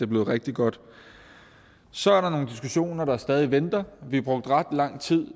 blev rigtig godt så er der nogle diskussioner der stadig venter vi brugte ret lang tid